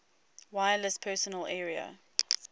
wireless personal area